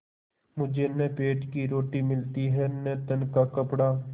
मुझे न पेट की रोटी मिलती है न तन का कपड़ा